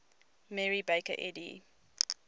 mary baker eddy